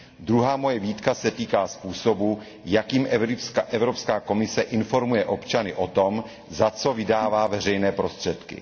Druhá moje výtka se týká způsobu, jakým Evropská komise informuje občany o tom, za co vydává veřejné prostředky.